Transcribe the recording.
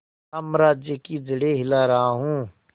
साम्राज्य की जड़ें हिला रहा हूं